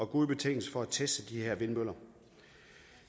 gode betingelser for at teste de her vindmøller